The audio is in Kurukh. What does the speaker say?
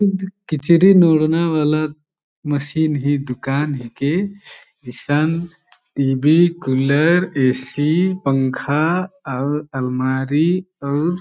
किचरी नोड़ना वाला मशीन ही दुकान हिके इसन टी_वी कूलर ए_सी पंखा अउर अलमारी अउर--